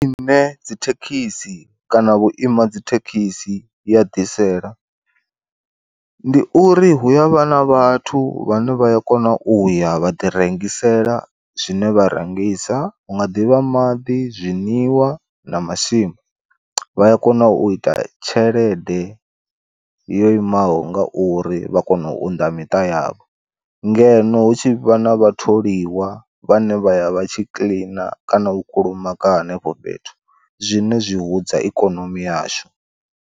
Zwine dzithekhisi kana vhu ima dzithekhisi ya ḓisela, ndi uri hu ya vhana vhathu vhane vhaya kona u ya vha ḓi rengisela zwine vha rengisa hu nga ḓivha maḓi, zwiṅwiwa na masimba vha ya kona u ita tshelede yo imaho nga uri vha kona u unḓa miṱa yavho. Ngeno hu tshi vha na vha tholiwa vhane vhaya vha tshi kiḽina kana u kulumaga henefho fhethu zwine zwi hudza ikonomi yashu.